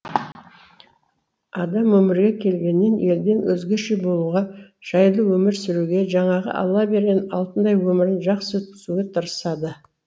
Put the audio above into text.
адам өмірге келгеннен елден өзгеше болуға жайлы өмір сүруге жаңағы алла берген алтындай өмірін жақсы өткізуге тырысады